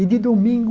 E, de domingo,